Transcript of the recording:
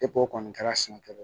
Epo o kɔni kɛra sɛnɛkɛlaw ye